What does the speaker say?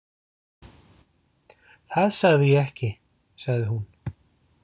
Það sagði ég ekki, sagði hún.